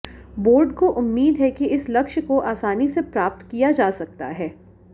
board को उम्मीद है कि इस लक्ष्य को आसानी से प्राप्त किया जा सकता है